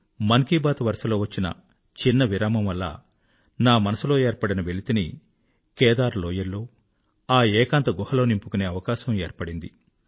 మన్ కీ బాత్ వరుసలో వచ్చిన చిన్న విరామం వల్ల నా మనసులో ఏర్పడిన వెలితిని కేదార్ లోయల్లో ఆ ఏకాంత గుహలో నింపుకొనే అవకాశం ఏర్పడింది